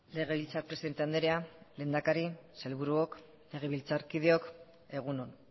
legebiltzar presidente andrea lehendakari sailburuok legebiltzarkideok egun on